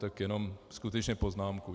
Tak jenom skutečně poznámku.